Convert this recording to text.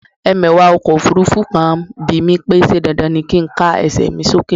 Ẹmẹ̀wà ọkọ̀ òfurufú kan bimí pé ṣe dandan ni kin ká ẹsẹ mi sókè?